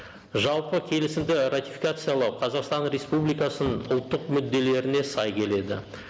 жалпы келісімді ратификациялау қазақстан республикасының ұлттық мүдделеріне сай келеді